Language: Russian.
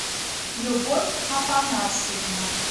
любовь афонасьевна